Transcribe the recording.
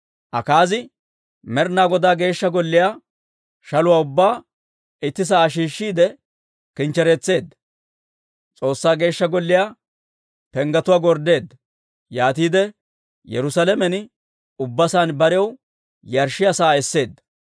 Akaazi Med'inaa Godaa Geeshsha Golliyaa shaluwaa ubbaa itti sa'aa shiishshiide kinchchereetseedda. S'oossaa Geeshsha Golliyaa penggetuwaa gorddeedda. Yaatiide Yerusaalamen ubbasaan barew yarshshiyaa sa'aa esseedda.